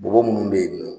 Bɔgɔ munnu be yen nɔ